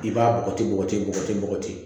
I b'a bɔgɔti bɔgɔti bɔgɔti bɔgɔti